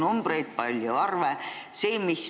Oli palju arve.